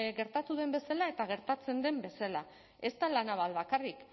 gertatu den bezala eta gertatzen den bezala ez da la naval bakarrik